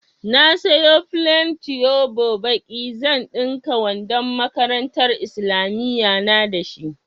Na sayo flen tuyobo baƙi, zan ɗinka wandon makarantar islamiyya na da shi.